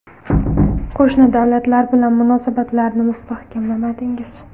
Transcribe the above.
Qo‘shni davlatlar bilan munosabatlarni mustahkamladingiz.